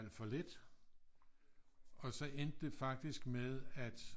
Alt for lidt og så endte det faktisk med at